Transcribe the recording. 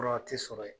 Fura ti sɔrɔ yen